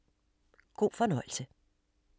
God fornøjelse!